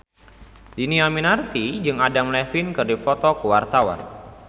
Dhini Aminarti jeung Adam Levine keur dipoto ku wartawan